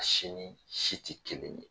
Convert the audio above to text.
si ni ni si tɛ kelen ye.